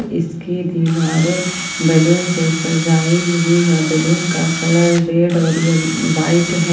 इसकी दीवारें बैलून से सजाई हुई है बैलून का कलर रेड और व्हाइट है।